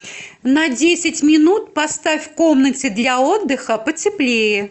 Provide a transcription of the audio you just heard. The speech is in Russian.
на десять минут поставь в комнате для отдыха потеплее